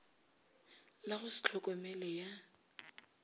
la go se tlhokomele ya